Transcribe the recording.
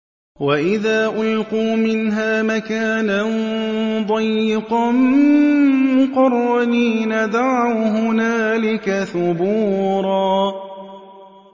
وَإِذَا أُلْقُوا مِنْهَا مَكَانًا ضَيِّقًا مُّقَرَّنِينَ دَعَوْا هُنَالِكَ ثُبُورًا